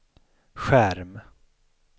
skärm